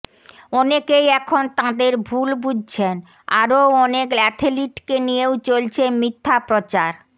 অনেকেই এখন তাঁদের ভুল বুঝছেন আরও অনেক অ্যাথলিটকে নিয়েও চলছে মিথ্যা প্রচার